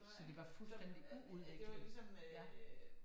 Så det var fuldstændigt uudviklet ja